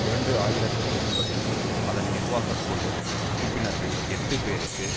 இரண்டு ஆயிரத்தி ஒன்பதில் அதன் நிர்வாக குழு உறுப்பினர்கள் எட்டு பேருக்கு